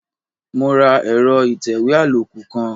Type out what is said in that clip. Mo ra ẹ̀rọ ìtẹ̀wé àlòkù kan.